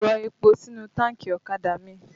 Rọ epo sínú táànkì ọ̀kadà mi!